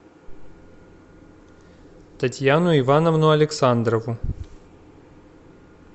татьяну ивановну александрову